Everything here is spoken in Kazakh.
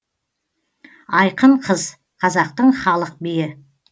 айқын қыз қазақтың халық биі